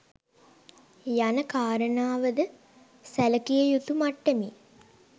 යන කාරණාවද සැලකියයුතු මට්ටමින්